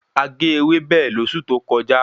A ge ewébẹ̀ lósù tó kọjá